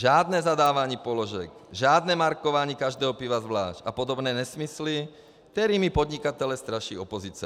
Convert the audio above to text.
Žádné zadávání položek, žádné markování každého piva zvlášť a podobné nesmysly, kterými podnikatele straší opozice.